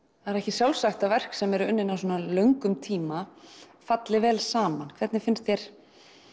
það er ekki sjálfsagt að verk sem eru unnin á svona löngum tíma falli vel saman hvernig finnst þér